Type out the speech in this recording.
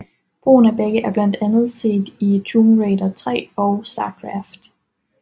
Brugen af begge er blandt andet set i Tomb Raider III og StarCraft